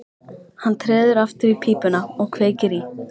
Hann treður aftur í pípuna og kveikir í.